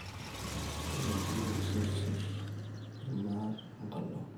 teleju isurrusurr, irmaat onkalaok